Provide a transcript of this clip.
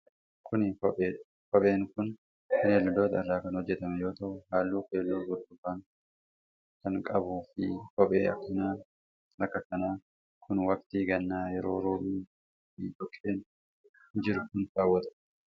Kun, kophee dha. Kopheen kun gogaa bineeldotaa irraa kan hojjatame yoo ta'u, haalluu keelloo burtukaan akan qabuu fi kopheen akka kanaa kun waqtii gannaa yeroo roobni roobuu fi dhoqqeen jiru kan kaawwatamuu dha.